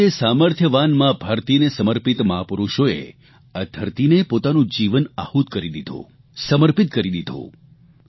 તે જ રીતે સામર્થયવાન મા ભારતીને સમર્પિત મહાપુરૂષોએ આ ધરતીને પોતાનું જીવન આહૂત કરી દીધું સમર્પિત કરી દીધું